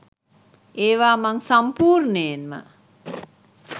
ඒවා මං සම්පූර්ණයෙන්ම